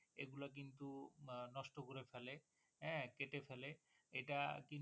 এটা কেটে ফেলে